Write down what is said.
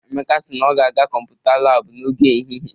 Emeka si na ọ ga-aga kọmputa laabụ n'oge ehihie.